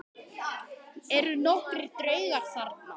Eru nokkrir draugar þarna?